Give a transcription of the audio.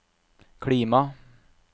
klima